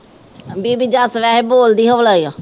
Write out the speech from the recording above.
ਬੀਬੀ ਬੋਲਦੀ ਹੌਲੀ ਆ।